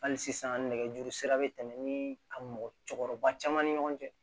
Hali sisan nɛgɛjuru sira bɛ tɛmɛ ni ka mɔgɔ cɛkɔrɔba caman ni ɲɔgɔn cɛ